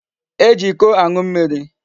E ji Iko anu mmiri